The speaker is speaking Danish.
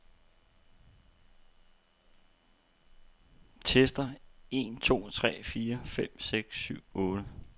Tester en to tre fire fem seks syv otte.